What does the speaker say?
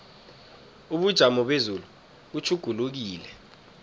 ubujamo bezulu butjhugulukile